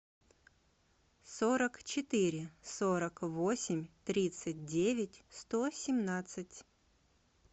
сорок четыре сорок восемь тридцать девять сто семнадцать